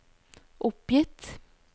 oppgitt